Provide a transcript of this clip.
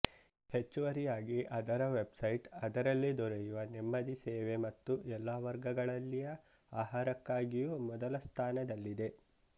ಹೆಚ್ಚುವರಿಯಾಗಿ ಅದರ ವೆಬ್್ಸೈಟ್ ಅದರಲ್ಲಿ ದೊರೆಯುವ ನೆಮ್ಮದಿ ಸೇವೆ ಮತ್ತು ಎಲ್ಲ ವರ್ಗಗಳಲ್ಲಿಯ ಆಹಾರಕ್ಕಾಗಿಯೂ ಮೊದಲ ಸ್ಥಾನದಲ್ಲಿದೆ